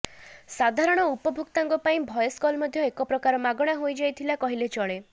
ସାଧାରଣ ଉପଭୋକ୍ତାଙ୍କ ପାଇଁ ଭଏସ କଲ ମଧ୍ୟ ଏକ ପ୍ରକାର ମାଗଣା ହୋଇଯାଇଥିଲା କହିଲେ ଚଳେ